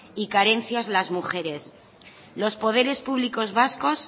y carencias las mujeres los poderes públicos vascos